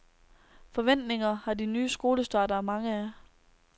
Forventninger har de nye skolestartere mange af.